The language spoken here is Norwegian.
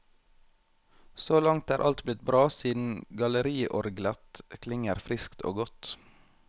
Så langt er alt blitt bra siden galleriorglet klinger friskt og godt.